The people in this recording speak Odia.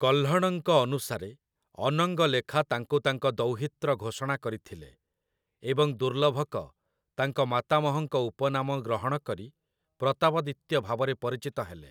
କହ୍ଲଣଙ୍କ ଅନୁସାରେ, ଅନଙ୍ଗଲେଖା ତାଙ୍କୁ ତାଙ୍କ ଦୌହିତ୍ର ଘୋଷଣା କରିଥିଲେ ଏବଂ ଦୁର୍ଲଭକ ତାଙ୍କ ମାତାମହଙ୍କ ଉପନାମ ଗ୍ରହଣ କରି ପ୍ରତାପଦିତ୍ୟ ଭାବରେ ପରିଚିତ ହେଲେ ।